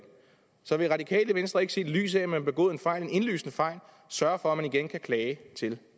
så vil radikale venstre ikke set i lyset af at man har begået en fejl en indlysende fejl sørge for at der igen kan klages til